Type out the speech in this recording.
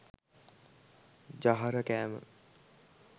ජහර කෑම